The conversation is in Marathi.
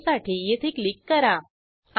आता ब्राऊजरवर जाऊन लॉगिन पेजवर जा